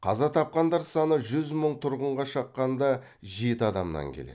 қаза тапқандар саны жүз мың тұрғынға шаққанда жеті адамнан келеді